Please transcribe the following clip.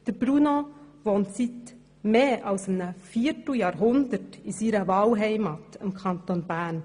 Bruno Vanoni wohnt seit mehr als einem Vierteljahrhundert in seiner Wahlheimat im Kanton Bern.